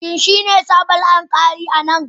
Shin shi ne sabon alƙali a nan?